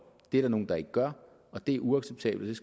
det er der nogle der ikke gør og det er uacceptabelt